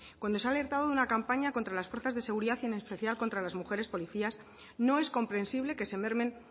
cuando se ha alertado de una campaña contra las fuerzas de seguridad y en especial contra las mujeres policías no es comprensible que se mermen